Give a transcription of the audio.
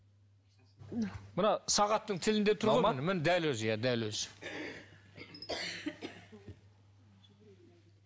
мына сағаттың тілінде тұр ғой дәл өзі иә дәл өзі